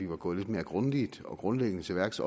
var gået lidt mere grundigt og grundlæggende til værks